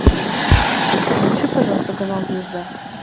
включи пожалуйста канал звезда